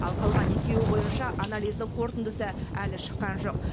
ал қалған екеуі бойынша анализдің қорытындысы әлі шыққан жоқ